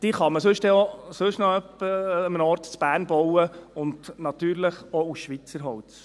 Die kann man sonst dann auch noch an einem anderen Ort in Bern bauen und natürlich auch aus Schweizer Holz.